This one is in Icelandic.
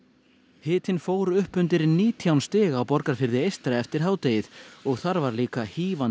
hitinn fór upp undir átján stig á Borgarfirði eystra eftir hádegið og þar var líka